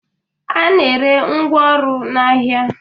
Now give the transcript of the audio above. A na-ere ngwaọrụ n'ahịa